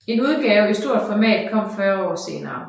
En udgave i stort format kom 40 år senere